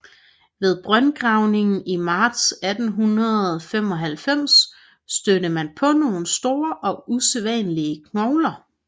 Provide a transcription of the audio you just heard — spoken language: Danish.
Ved brøndgravning i marts 1895 stødte man på nogle store og usædvanlige knogler